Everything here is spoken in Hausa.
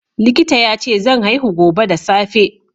Likita yace zan haihu gobe da safe.